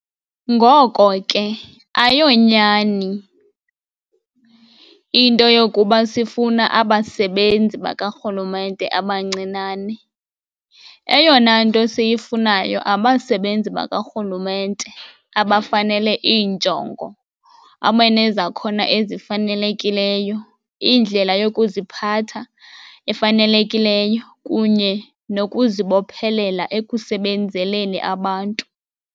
Ngoko ke ayonyani into yokuba sifuna abasebenzi bakarhulumente abancinane- eyona nto siyifunayo abasebenzi bakarhulumente abafanele iinjongo abanezakhono ezifanelekileyo, indlela yokuziphatha efanelekileyo kunye nokuzibophelela ekusebenzeleni abantu.